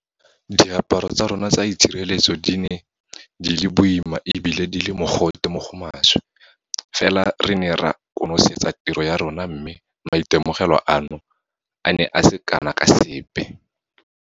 Diaparo tsa rona tsa itshireletso di ne di le boima e bile di le mogote mo go maswe fela re ne ra konosetsa tiro ya rona mme maitemogelo ano a ne a se kana ka sepe.